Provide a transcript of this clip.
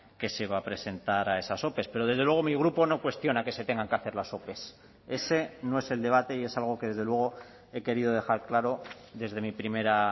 que se va a presentar a esas ope pero desde luego mi grupo no cuestiona que se tengan que hacer las ope ese no es el debate y es algo que desde luego he querido dejar claro desde mi primera